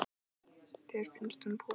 Þér finnst hún púkó.